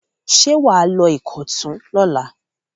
Ṣé wà á lọ Ìkọ̀tún lọ́la?